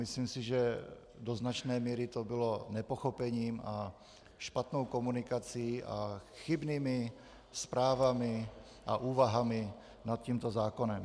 Myslím si, že do značné míry to bylo nepochopením a špatnou komunikací a chybnými zprávami a úvahami nad tímto zákonem.